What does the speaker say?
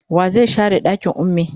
wa zai share ɗakin ummi?